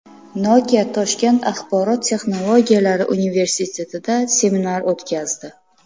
Nokia Toshkent axborot texnologiyalari universitetida seminar o‘tkazdi.